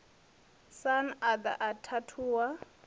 sun a ḓa a khathuwa